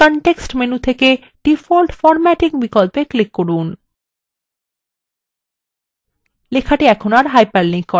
এখন ডান click করুন এবং context menu থেকে default formatting বিকল্পে click করুন